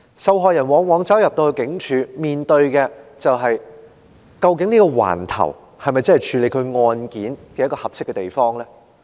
受害人走進警署後往往面對的情況是：究竟這個警區是否處理其案件的合適地方呢？